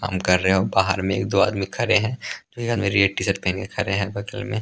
काम कर रहे हो बाहर में एक दो आदमी खड़े है एक आदमी रेड टी-शर्ट पहन के खड़े हैं बगल में --